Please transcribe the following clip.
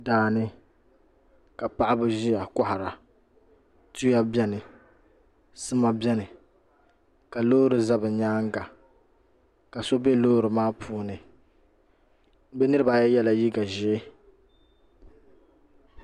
Daani ka paɣaba ʒiya kohara tuya biɛni sima biɛni ka loori ʒɛ bi nyaanga ka so bɛ loori maa puuni bi niraba ayi yɛla liigq ʒiɛ